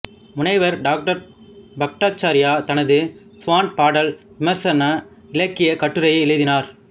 முனைவர் டாக்டர் பட்டாச்சார்யா தனது ஸ்வான்பாடல் விமர்சன இலக்கியக் கட்டுரையை எழுதினார்